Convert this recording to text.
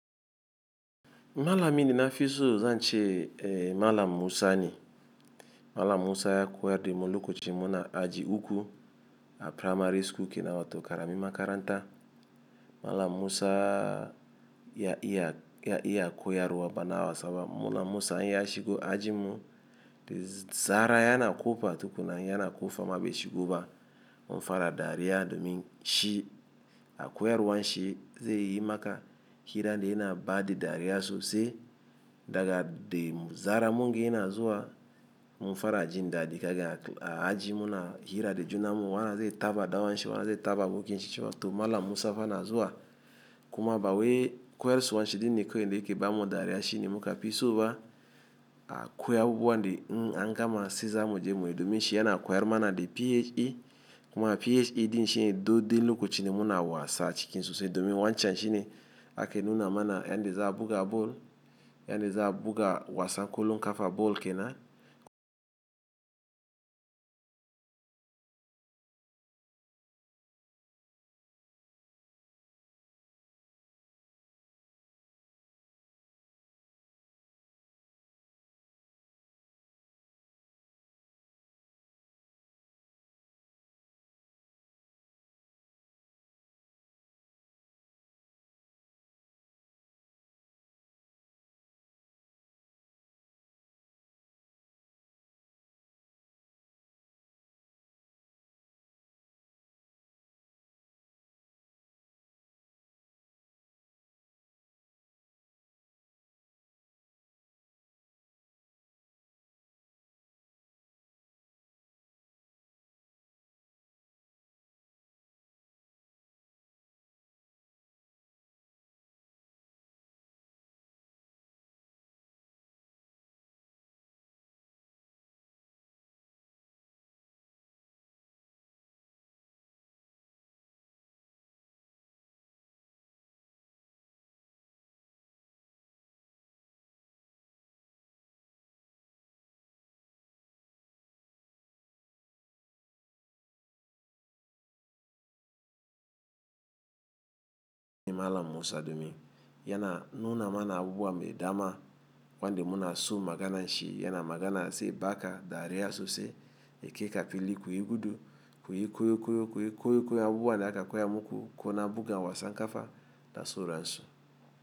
Malamin da nafi so zanche malam Musa ne. Malam Musa ya koyad dani lokacin muna aji uku a primary school ke na wato karamin makaranta. Malam Musa ya iya koyar wa bana wasaba mala Musa ya shigo ajim mu, da zara yana kofa tukuna yana kofa ba shigoba mun fara dariya domin shi a koya ruwan shi ze yi maka hira ne yana ba da dariya sosai daga de zaran munga yana zuwa mun fara jin dadi daga aji muna hira da junammu wannan ze taba dan uwanshi wana ze taba abokinshi cewa toh malam Musa fa na zuwa kuma bawai koyar suwan shi din ni kowai ne ke bamu dariya shi ne muka fi so ba a koya abubuwa de in gama siza muje muyi domin shi yana koyar mana de PHE kuma PHE din shi do de lokochin da muna wasa cikin sosai domi wancan shi ni ake nuna mana yanda za a buga ball, yanda za a buga wasan kolon kafa ball kena. Malam Musa domi yana nuna mana abubuwa mai dama wanda muna so magana nshi yana magana ze baka dariya sosai yake kafil kayi gudu koyi koyi koyi koyi koyi abubuwa da aka koya muku ko na buga wasan kafa da so ransu.